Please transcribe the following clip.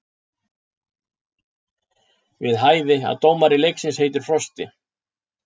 Við hæfi að dómari leiksins heitir Frosti.